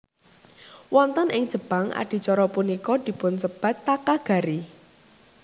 Wonten ing Jepang adicara punika dipunsebat Takagari